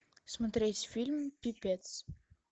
смотреть фильм пипец